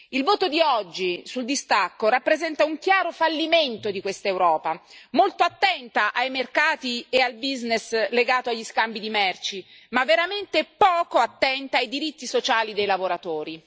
Il voto di oggi sul distacco rappresenta un chiaro fallimento di quest'Europa, molto attenta ai mercati e al business legato agli scambi di merci ma veramente poco attenta ai diritti sociali dei lavoratori.